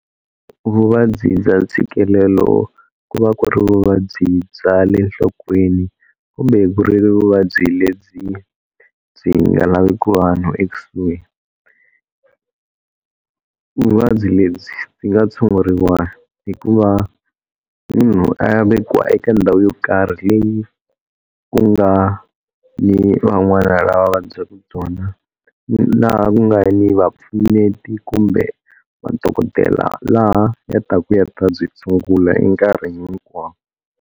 Vuvabyi bya ntshikelelo ku va ku ri vuvabyi bya le nhlokweni kumbe ku ri vuvabyi lebyi byi nga laveki vanhu ekusuhi vuvabyi lebyi byi nga tshunguriwa hi ku va munhu a ya vekiwa eka ndhawu yo karhi leyi ku nga ni van'wana lava vabyaka byona ni laha ku nga ni vapfuneti kumbe madokodela laha ya taku ya ta byi tshungula enkarhini hinkwawo.